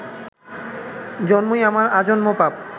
জন্মই আমার আজন্ম পাপ